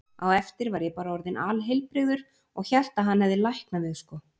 Á eftir var ég bara orðinn alheilbrigður og hélt að hann hefði læknað mig, sko.